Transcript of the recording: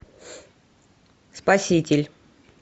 спаситель